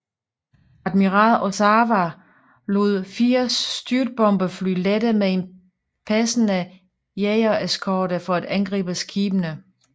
Admiral Ozawa lod 80 styrtbombefly lette med en passende jagereskorte for at angribe skibene